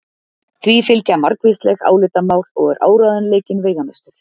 Því fylgja margvísleg álitamál og er áreiðanleikinn veigamestur.